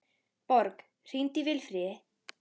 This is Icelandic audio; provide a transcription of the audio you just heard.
Borg, hringdu í Vilfríði.